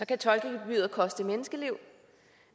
kan tolkegebyret koste menneskeliv